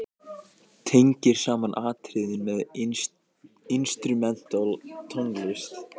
Tengir saman atriðin með instrumental tónlist.